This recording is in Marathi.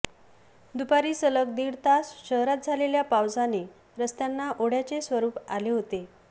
दुपारी सलग दीड तास शहरात झालेल्या पावसाने रस्त्यांना ओढय़ाचे स्वरुप आले होते